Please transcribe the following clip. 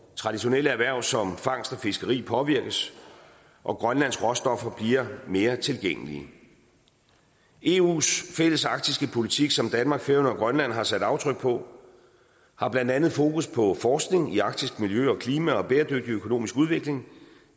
traditionelle erhverv som fangst og fiskeri påvirkes og grønlands råstoffer bliver mere tilgængelige eus fælles arktiske politik som danmark færøerne og grønland har sat aftryk på har blandt andet fokus på forskning i arktisk miljø og klima og bæredygtig økonomisk udvikling